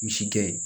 Misi gɛn